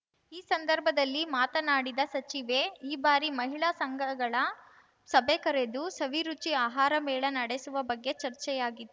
ಈ ಸಂದರ್ಭದಲ್ಲಿ ಮಾತನಾಡಿದ ಸಚಿವೆ ಈ ಬಾರಿ ಮಹಿಳಾ ಸಂಘಗಳ ಸಭೆ ಕರೆದು ಸವಿರುಚಿ ಆಹಾರ ಮೇಳ ನಡೆಸುವ ಬಗ್ಗೆ ಚರ್ಚೆಯಾಗಿ